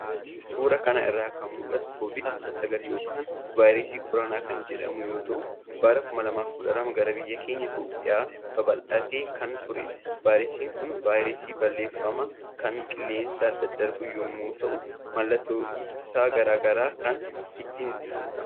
Suuraa kana irraa kan mul'atu COVID-19 yookaan Vaayirasii Koronaa kan jedhamu yommuu ta'u bara 2012 gara biyya keenya Itoophiyaatti babaldhatee kan turedha. Vaayirasiin kun vaayirasii balaafamaa kan qilleensaan daddarbu yommuu ta'u, maloota ittisaa gar garaan kan ittifamudha.